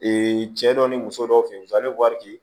cɛ dɔ ni muso dɔw fe yen a be wari di